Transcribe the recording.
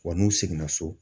Wa n'u seginna so.